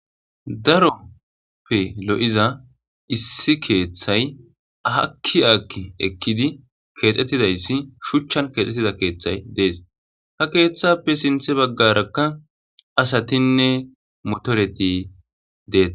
Daroppe lo'iza issi keeththay akki aakki ekkidi keexxettidayssi shuchchan keexxettida keeththay dees ha keeththappe sinthe baggarakka asatinne motoreti deetees